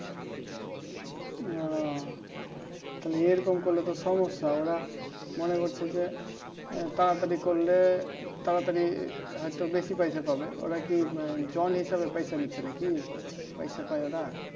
আহ থালে এরকম করলেতা সমস্যা ওরা মনে করছে যে তাড়াতাড়ি করলে তাড়াতাড়ি হয়তো বেশি পয়সা পাবে ওরাকি জন হিসাবে পয়সা দিচ্ছে নাকি পয়সা পাই ওরা